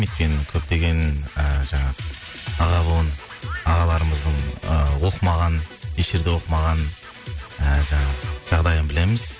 өйткені көптеген ы жаңағы аға буын ағаларымыздың ы оқымаған еш жерде оқымаған ііі жаңағы жағдайын білеміз